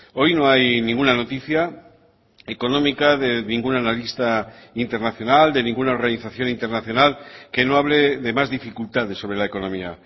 hoy no hay ninguna noticia económica de ningún analista internacional de ninguna organización internacional que no hable de más dificultades sobre la economía